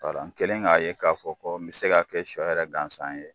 Kalan kelen k'a ye k'a fɔ ko n bɛ se k'a kɛ sɔ yɛrɛ gansan ye.